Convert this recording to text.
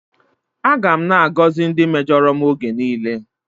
Aga m na-agọzi ndị mejọrọ m oge niile.